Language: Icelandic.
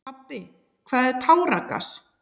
Pabbi, hvað er táragas?